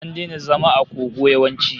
An daina zama a kogo yawanci